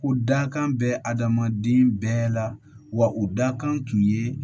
Ko dakan bɛ adamaden bɛɛ la wa u dakan tun ye